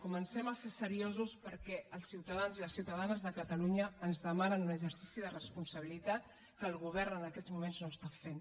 comencem a ser seriosos perquè els ciutadans i les ciutadanes de catalunya ens demanen un exercici de responsabilitat que el govern en aquests moments no està fent